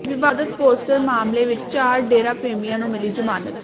ਵਿਵਾਦਤ poster ਮਾਮਲੇ ਵਿੱਚ ਚਾਰ ਡੇਰਾ ਪ੍ਰੇਮੀਆਂ ਨੂੰ ਮਿਲੀ ਜਮਾਨਤ